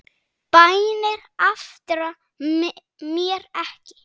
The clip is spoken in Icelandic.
Bænir aftra mér ekki.